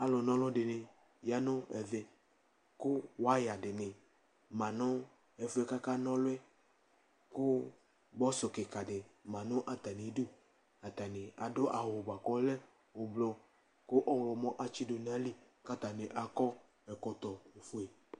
alu na ɔlu dini ya ɛvɛ, ku waya dini ma nu ɛfuɛ ka ka na ɔlu yɛ ku bɔsu kika di ma nu ata idu, ata ni adu awu bʋa ku ɔlɛ ublu, ku ɔwlɔmɔ atsidu nu ayili , ku ata ni akɔ ɛkɔtɔ fue